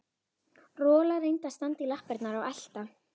Rola reyndi að standa í lappirnar og elta